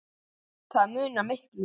Það munar miklu.